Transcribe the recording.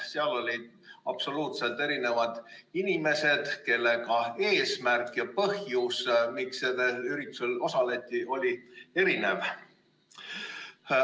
Seal olid absoluutselt erinevad inimesed, kelle eesmärk ja põhjus, miks üritusel osaleti, oli erinev.